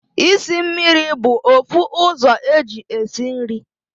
Isi mmiri bu ofu uzo eji esi nri